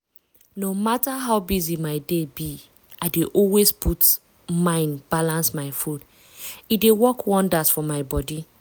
no matter how busy my day be i dey always put mind balance my food. e dey work wonders for my body.